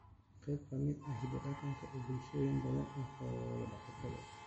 Xooluhu waa qayb ka mid ah hiddaha dhaqanka ee bulshooyin badan oo xoolo-dhaqato ah.